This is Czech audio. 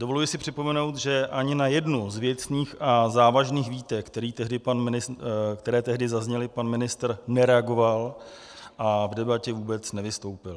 Dovoluji si připomenout, že ani na jednu z věcných a závažných výtek, které tehdy zazněly, pan ministr nereagoval a v debatě vůbec nevystoupil.